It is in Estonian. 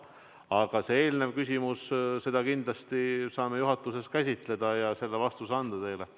Aga teie küsimust me kindlasti saame juhatuses käsitleda ja teile vastuse anda.